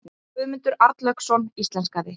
Guðmundur Arnlaugsson íslenskaði.